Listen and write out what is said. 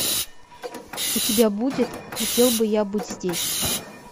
у тебя будет хотел бы я быть здесь